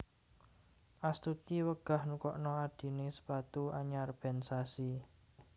Astuti wegah nukokno adhine sepatu anyar ben sasi